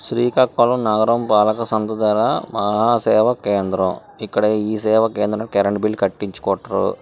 శ్రీకాకుళం నగరంపాలక పాలకసంస్థ ద్వారా మహాసేవ కేంద్రం ఇక్కడ ఈ సేవా కేంద్రం కరెంట్ బిల్లు కట్టించుకుంట్రు.